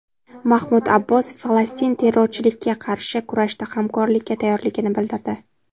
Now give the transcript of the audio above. Mahmud Abbos Falastin terrorchilikka qarshi kurashda hamkorlikka tayyorligini bildirdi.